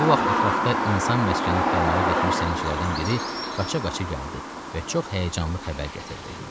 Bu vaxt ətrafda insan məskəni axtarmağa getmiş zəngçilərdən biri qaça-qaça gəldi və çox həyəcanlı xəbər gətirdi.